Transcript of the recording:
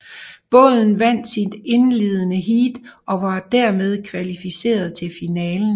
Båden vandt sit indledende heat og var dermed kvalificeret til finalen